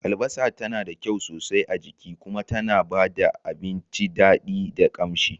Albasa tana da kyau sosai a jiki kuma tana ba da abinci daɗi da ƙamshi.